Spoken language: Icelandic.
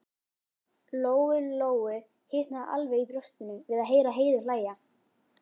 Lóu-Lóu hitnaði alveg í brjóstinu við að heyra Heiðu hlæja.